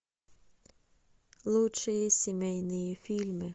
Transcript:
лучшие семейные фильмы